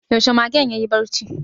Yaushe magen yayi barci?